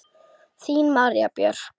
Þín María Björk.